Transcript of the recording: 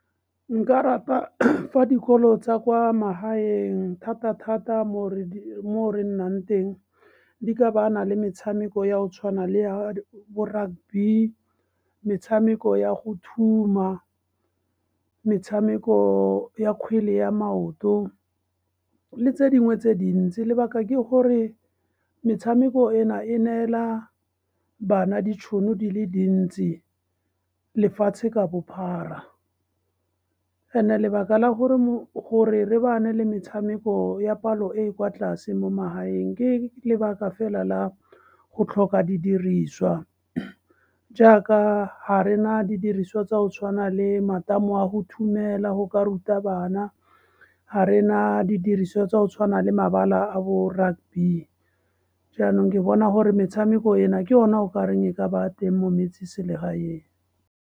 Nka rata fa dikolo tsa kwa magaeng, thata-thata mo re nnang teng, di ka bana le metshameko ya o tshwana le bo rugby, metshameko ya go thuma, metshameko ya kgwele ya maoto le tse dingwe tse dintsi. Lebaka ke gore, metshameko ena e neela bana ditšhono di le dintsi, lefatshe ka bophara, and-e lebaka la gore re bane le metshameko ya palo e e kwa tlase mo magaeng, ke lebaka fela la go tlhoka didiriswa. Jaaka, ha rena didiriswa tsa o tshwana le matamo a ho thumela, ho ka ruta bana, ha rena didiriswa tsao tshwana le mabala a bo rugby, jaanong ke bona gore metshameko yena ke yona o kareng e ka ba teng mo metseselegaeng.